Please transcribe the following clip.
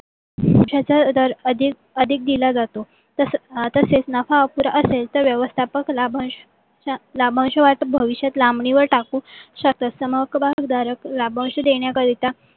त्याचा दर अधिक दिला जातो. तसेच नफा अपुरा असेल तर व्यवस्थापक लाभांश वाटप भविष्यात लांबणीवर टाकु शकतात. समहक्क भागधारक लाभांश देण्या करिता